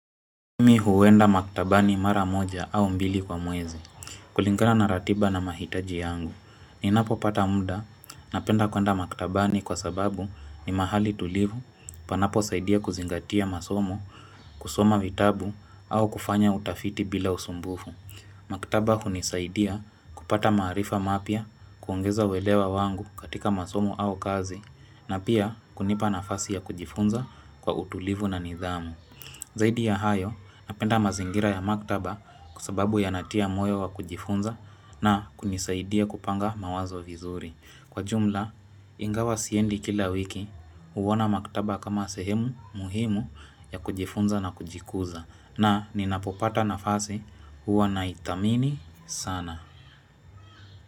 Mi huenda maktabani mara moja au mbili kwa mwezi, kulingana na ratiba na mahitaji yangu. Ninapopata muda, napenda kuenda maktabani kwa sababu ni mahali tulivu, panapo saidia kuzingatia masomo, kusoma vitabu, au kufanya utafiti bila usumbufu. Maktaba hunisaidia kupata maarifa mapya, kuongeza uwelewa wangu katika masomo au kazi, na pia kunipa nafasi ya kujifunza kwa utulivu na nidhamu. Zaidi ya hayo, napenda mazingira ya maktaba kwa sababu yanatia moyo wa kujifunza na kunisaidia kupanga mawazo vizuri. Kwa jumla, ingawa siendi kila wiki, huona maktaba kama sehemu muhimu ya kujifunza na kujikuza. Na ninapopata nafasi huwa naithamini sana.